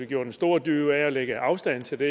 gjort en stor dyd ud af at lægge afstand til det